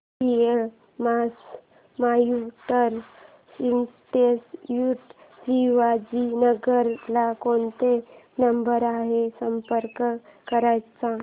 CMS computer institute Shivajinagar ला कोणत्या number वर संपर्क करायचा